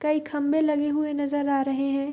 कई खम्बे लगे हुए नजर आ रहे हैं।